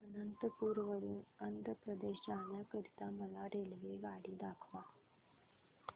अनंतपुर वरून आंध्र प्रदेश जाण्या करीता मला रेल्वेगाडी दाखवा